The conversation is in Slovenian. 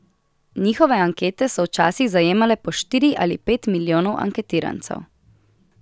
Njihove ankete so včasih zajemale po štiri ali pet milijonov anketirancev.